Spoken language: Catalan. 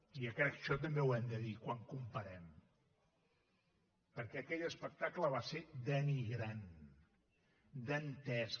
i crec que això també ho hem de dir quan comparem perquè aquell espectacle va ser denigrant dantesc